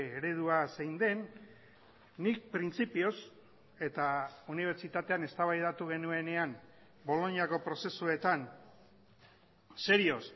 eredua zein den nik printzipioz eta unibertsitatean eztabaidatu genuenean boloñako prozesuetan serioz